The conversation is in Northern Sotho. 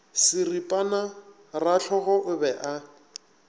seripana rahlogo o be a